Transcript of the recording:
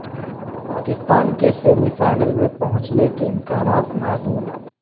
پاکستان کے semi final میں پہنچنے کے امکانات معدوم